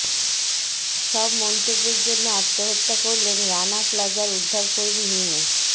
সব মন্তব্যের জন্য আত্মহত্যা করলেন রানা প্লাজার উদ্ধারকর্মী হিমু